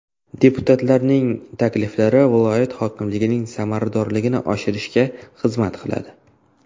Deputatlarning takliflari viloyat hokimligining samaradorligini oshirishga xizmat qiladi.